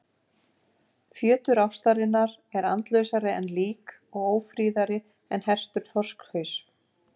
Fjötur ástarinnar er andlausari en lík og ófríðari en hertur þorskhaus.